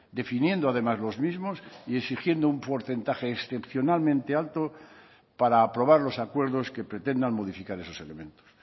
definiendo además los mismos y exigiendo un porcentaje excepcionalmente alto para aprobar los acuerdos que pretendan modificar esos elementos